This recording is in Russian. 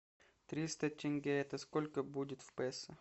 триста тенге это сколько будет в песо